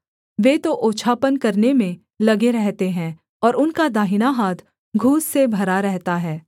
वे तो ओछापन करने में लगे रहते हैं और उनका दाहिना हाथ घूस से भरा रहता है